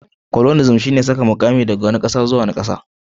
coloniasm shine saka mukami daga wani kasa zuwa wani